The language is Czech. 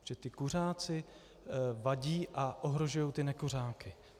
Protože ti kuřáci vadí a ohrožují ty nekuřáky.